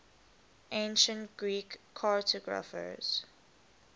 ancient greek cartographers